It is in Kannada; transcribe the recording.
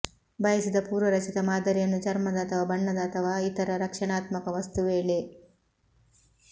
ಬಯಸಿದ ಪೂರ್ವರಚಿತ ಮಾದರಿಯನ್ನು ಚರ್ಮದ ಅಥವಾ ಬಣ್ಣದ ಅಥವಾ ಇತರ ರಕ್ಷಣಾತ್ಮಕ ವಸ್ತು ವೇಳೆ